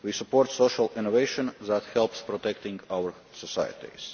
We support social innovation that helps protect our societies.